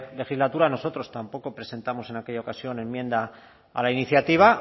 legislatura nosotros tampoco presentamos en aquella ocasión enmienda a la iniciativa